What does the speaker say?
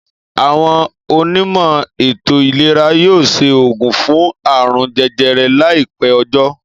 Àwon onímò̩ ètò ìlera yóò s̩e ògùn fún àrùn je̩je̩re̩ láì pé̩ o̩jó̩